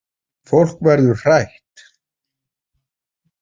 Fólk verður hrætt